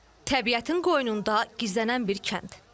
Təbiətin qoynunda gizlənən bir kənd.